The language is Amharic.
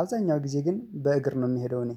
አብዛኛው ጊዜ ግን በእግር ነው የምሄደው እኔ